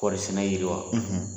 Kɔɔri sɛnɛ yiriwa